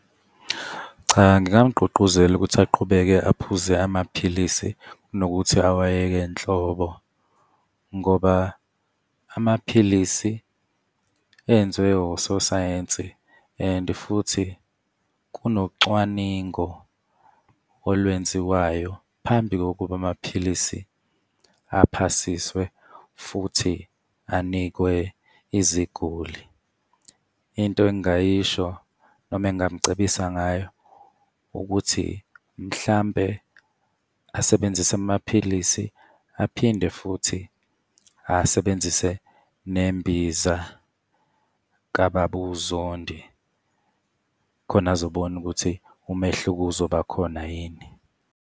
Cha, ngingamgqugquzela ukuthi aqhubeke aphuze amaphilisi kunokuthi awayeke nhlobo ngoba amaphilisi enziwe ososayensi and futhi kunocwaningo olwenziwayo phambi kokuba amaphilisi aphasiswe, futhi anikwe iziguli. Into engingayisho, noma engingamcebisa ngayo ukuthi mhlampe asebenzise amaphilisi, aphinde futhi asebenzise nembiza kaBaba uZondi khona azobona ukuthi umehluko uzoba khona yini.